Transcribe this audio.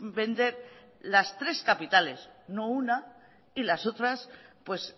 vender las tres capitales no una y las otras pues